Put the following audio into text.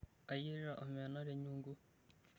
Kayierita omena tenyungu.